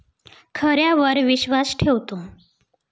खऱ्यावर विश्वास ठेवतो'